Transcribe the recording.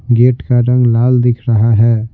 Gate का रंग लाल दिख रहा है।